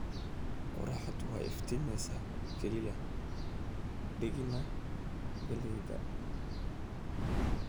Qorraxdu way iftiimaysaa, kaliya diigne galleyda